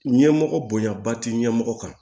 Ɲɛmɔgɔ bonyaba ti ɲɛmɔgɔ kan